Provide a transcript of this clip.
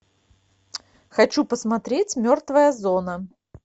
хочу посмотреть мертвая зона